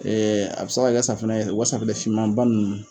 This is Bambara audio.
a bɛ sa ka kɛ safinɛ ye de u ka safinɛ fimanba nunnu